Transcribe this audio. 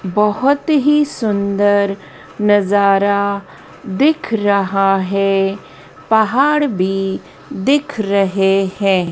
बहोत ही सुंदर नज़ारा दिख रहा है पहाड़ भी दिख रहे हैं।